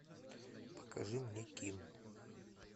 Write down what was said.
покажи мне ким